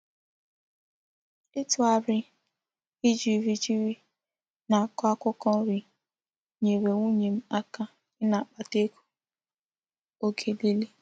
Itughari ijiri ijiri na-ako akwukwo nri nyere nwunye m aka ina-akpata ego oge nile.